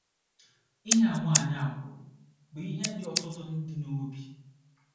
Ihe a nwaanyị a kwuru bụ ihe dị ọtụtụ ndị n’obi.